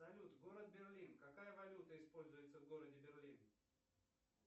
салют город берлин какая валюта используется в городе берлин